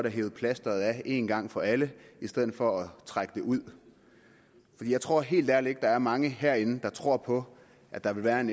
hevet plasteret af en gang for alle i stedet for at trække det ud for jeg tror helt ærligt ikke at der er mange herinde der tror på at der vil være en